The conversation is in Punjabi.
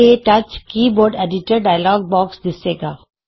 K touch keyboard editor dialog box ਦਿੱਸੇਗਾ